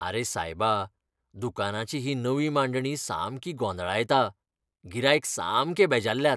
आरे सायबा, दुकानाची ही नवी मांडणी सामकी गोंदळायता. गिरायक सामके बेजारल्यात.